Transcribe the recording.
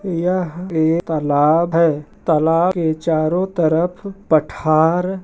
यह एक तालाब है तालाब के चारों तरफ पठार--